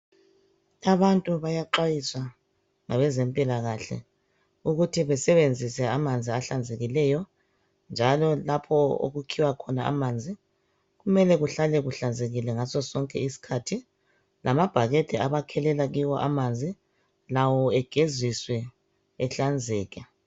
Abantu bayaxwayiswa ngabezempilakahle ukuthi besebenzise amanzi ahlanzekileyo njalo lapho okukhiwa khona amanzi kumele kuhlale kuhlanzekile ngaso sonke isikhathi, lamabhakede abakhelela kiwo amanzi lawo egeziswe ehlanzeke.